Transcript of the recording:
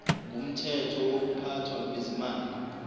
ngumthetho wokuphathwa kwezimali